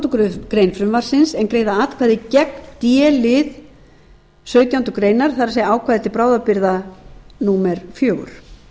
þrettándu greinar frumvarpsins en greiða atkvæði gegn d lið sautjándu grein það er ákvæði til bráðabirgða fjögur